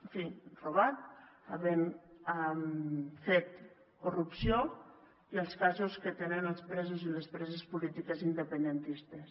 en fi robat havent fet corrupció i els casos que tenen els presos i les preses polítiques independentistes